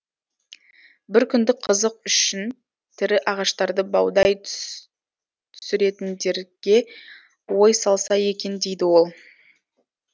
бір күндік қызық үшін тірі ағаштарды баудай түсіретіндерге ой салса екен дейді ол